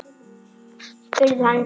spurði hann rámur.